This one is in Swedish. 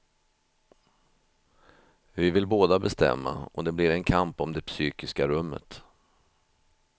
Vi vill båda bestämma och det blir en kamp om det psykiska rummet.